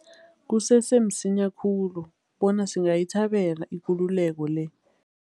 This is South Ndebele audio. Kusese msinya khulu bona singayithabela ikululeko le.